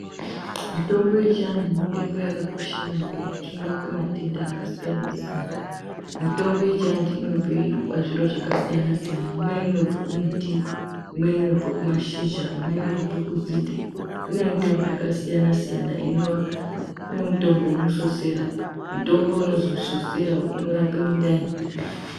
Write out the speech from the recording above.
Mitombo yechiantu mitombo yakakosha maningi ngekuti inorape matenda akasiyana-siyana. mitombo yechiantu inobe pazviro zvakasiyana-siyana. Imwe inobva kumuti, imwe inobva kushizha, imwe inobva kunzinde. Kune mitombo yakasiyana-siyana, ino kune mutombo vemusosera mutombo unozwi musosera unorape mundani.